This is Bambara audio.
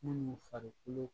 Minnu farikolo